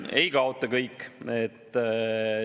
Ei kaota kõik.